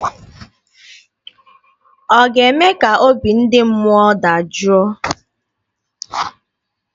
Ọ ga-eme ka obi ndị mmụọ dajụọ?